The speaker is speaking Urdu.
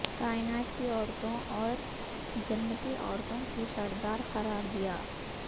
کائنات کی عورتوں اور جنتی عورتوں کی سردار قرار دیا